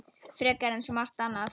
Frekar en svo margt annað.